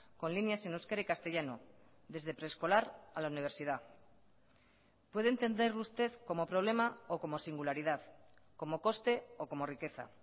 con líneas en euskera y castellano desde preescolar a la universidad puede entender usted como problema o como singularidad como coste o como riqueza